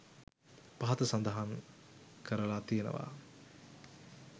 පහත සඳහන් කරලා තියෙනවා.